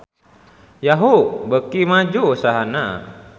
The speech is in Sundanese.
Yahoo! beuki maju usahana